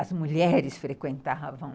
As mulheres frequentavam...